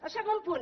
el segon punt